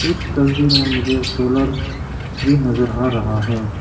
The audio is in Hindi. इस तस्वीर में मुझे सोलर भी नजर आ रहा है।